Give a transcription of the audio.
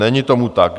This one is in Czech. Není tomu tak.